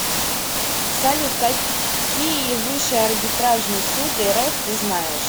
салют какие высший арбитражный суд рф ты знаешь